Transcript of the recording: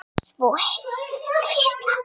Svo heyrði ég þau hvísla.